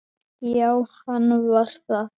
Já, hann var það.